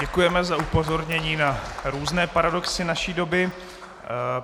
Děkujeme za upozornění na různé paradoxy naší doby.